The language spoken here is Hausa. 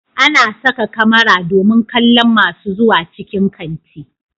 Ana saka kamara domin kallon masu zuwa cikin kanti